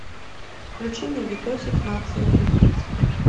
включи мне видосик нация убийц